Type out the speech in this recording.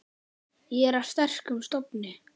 Ég er af sterkum stofni.